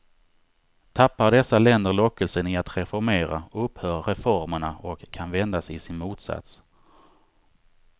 Tappar dessa länder lockelsen i att reformera, upphör reformerna och kan vändas i sin motsats.